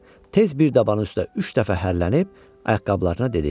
Tez bir dabanın üstə üç dəfə hərlənib ayaqqabılarına dedi: